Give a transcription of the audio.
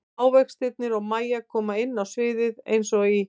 Ávextirnir og Mæja koma inn á sviðið eins og í